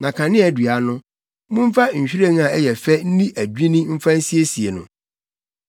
Na kaneadua no, momfa nhwiren a ɛyɛ fɛ nni adwinni mfa nsiesie no.